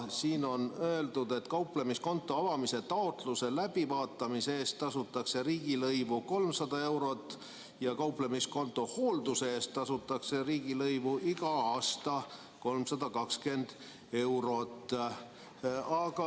Siin on öeldud, et kauplemiskonto avamise taotluse läbivaatamise eest tasutakse riigilõivu 300 eurot ja kauplemiskonto hoolduse eest tasutakse riigilõivu iga aasta 320 eurot.